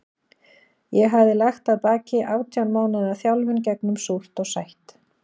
Ég hafði lagt að baki átján mánaða þjálfun gegnum súrt og sætt.